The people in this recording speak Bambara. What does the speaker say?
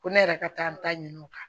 Ko ne yɛrɛ ka taa ɲini o kan